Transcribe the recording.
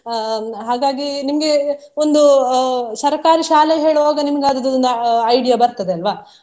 ಅಹ್ ಹಾಗಾಗಿ ನಿಮ್ಗೆ ಒಂದು ಅಹ್ ಸರಕಾರಿ ಶಾಲೆ ಹೇಳುವಾಗ ನಿಮಗ್ ಅದ್ರದೊಂದ್ idea ಬರ್ತದೆ ಅಲ್ವಾ.